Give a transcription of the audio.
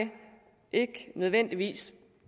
ikke nødvendigvis